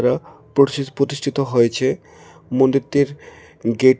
প্রতিষ্ঠিত হয়েছে মন্দিরটির গেট ।